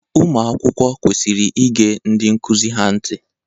Ụmụ akwụkwọ kwesiri ige ndị nkụzi ha ntị.